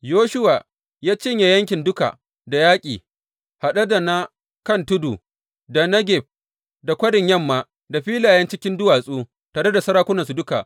Yoshuwa ya cinye yankin duka da yaƙi, haɗe da na kan tudu, da Negeb, da kwarin yamma, da filayen cikin duwatsu tare da sarakunansu duka.